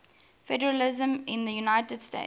federalism in the united states